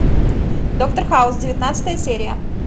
доктор хаус девятнадцатая серия